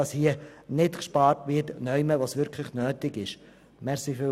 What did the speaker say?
Es soll nicht in Bereichen gespart werden, die wirklich nötig sind.